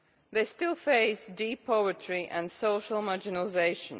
They still face deep poverty and social marginalisation.